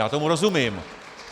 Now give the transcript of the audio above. Já tomu rozumím.